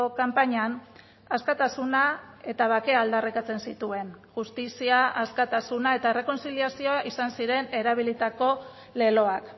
kanpainan askatasuna eta bakea aldarrikatzen zituen justizia askatasuna eta errekontziliazioa izan ziren erabilitako leloak